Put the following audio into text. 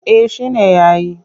Eh shi na yi.